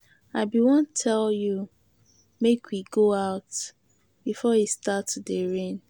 I be wan tell you make we go out before e start to dey rain.